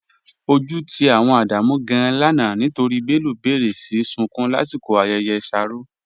Ọju ti awọn Ádámù gàn-an lánà nítorí Bello béré sí súnkún lasikọ̀ ayẹyẹ shárọ̀.